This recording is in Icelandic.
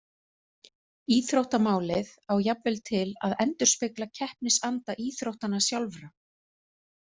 Íþróttamálið á jafnvel til að endurspegla keppnisanda íþróttanna sjálfra.